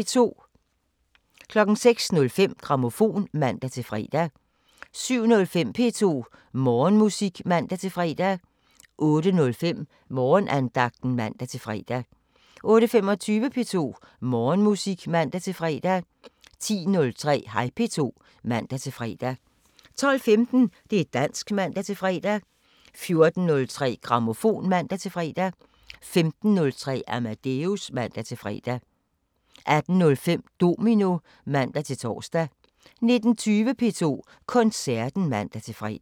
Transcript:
06:05: Grammofon (man-fre) 07:05: P2 Morgenmusik (man-fre) 08:05: Morgenandagten (man-fre) 08:25: P2 Morgenmusik (man-fre) 10:03: Hej P2 (man-fre) 12:15: Det´ dansk (man-fre) 14:03: Grammofon (man-fre) 15:03: Amadeus (man-fre) 18:05: Domino (man-tor) 19:20: P2 Koncerten (man-fre)